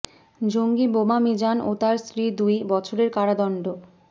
জঙ্গি বোমা মিজান ও তাঁর স্ত্রীর দুই বছরের কারাদণ্ড